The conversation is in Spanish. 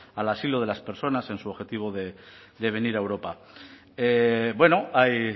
al asilo de las personas en su objetivo de venir a europa bueno hay